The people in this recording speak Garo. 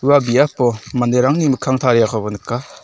ua biapo manderangni mikkang tariakoba nika.